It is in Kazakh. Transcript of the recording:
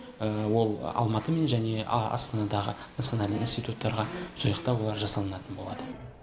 ол алматы мен және астанадағы национальный институттарда сол жақта олар жасалынатын болады